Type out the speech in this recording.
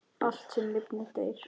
Allt, sem lifnar, deyr.